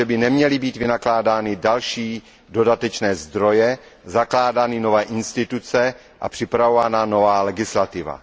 že by neměly být vynakládány další dodatečné zdroje, zakládány nové instituce a připravována nová legislativa.